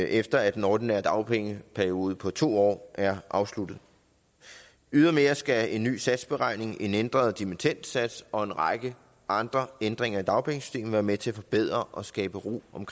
efter at den ordinære dagpengeperiode på to år er afsluttet ydermere skal en ny satsberegning en ændret dimittendsats og en række andre ændringer i dagpengesystemet være med til at forbedre og skabe ro om